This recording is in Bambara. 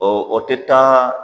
Ɔ o tɛ taa